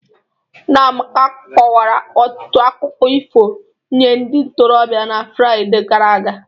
Nna Amaka kọwara ọtụtụ akụkọ ifo nye ndị ntorobịa na Fraịde gara aga